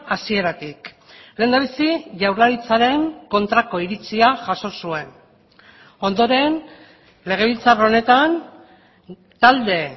hasieratik lehendabizi jaurlaritzaren kontrako iritzia jaso zuen ondoren legebiltzar honetan talde